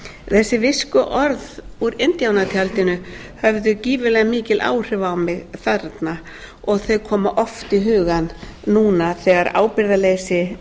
og líkami minn visnar þessi viskuorð úr indíánatjaldinu höfðu gífurlega mikil áhrif á mig þarna og þau koma oft í hugann núna þegar ábyrgðarleysi